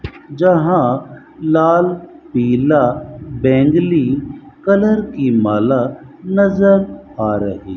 जहां लाल पीला बैंगनी कलर की माला नजर आ रही।